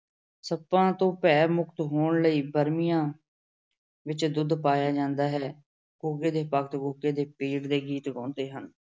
ਸੱਪਾਂ ਤੋਂ ਭੈ-ਮੁਕਤ ਹੋਣ ਲਈ ਬਰਮੀਆਂ ਵਿੱਚ ਦੁੱਧ ਪਾਇਆ ਜਾਂਦਾ ਹੈ। ਗੁੱਗੇ ਦੇ ਭਗਤ ਗੁੱਗੇ ਦੇ ਪੀਰ ਦੇ ਗੀਤ ਗਾਉਂਦੇ ਹਨ।